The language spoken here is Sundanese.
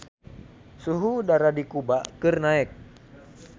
Suhu udara di Kuba keur naek